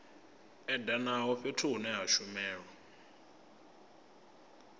edanaho fhethu hune ha shumelwa